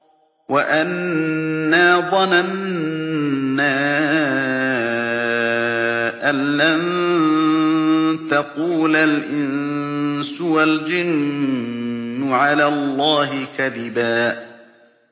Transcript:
وَأَنَّا ظَنَنَّا أَن لَّن تَقُولَ الْإِنسُ وَالْجِنُّ عَلَى اللَّهِ كَذِبًا